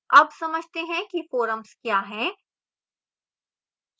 अब समझते हैं कि forums क्या हैं